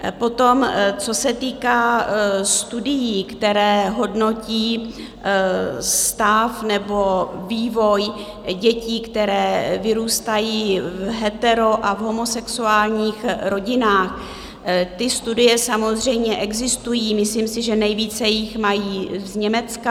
Potom co se týká studií, které hodnotí stav nebo vývoj dětí, které vyrůstají v hetero- a v homosexuálních rodinách, ty studie samozřejmě existují, myslím si, že nejvíce jich mají z Německa.